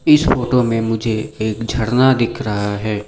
इस फोटो में मुझे एक झरना दिख रहा है।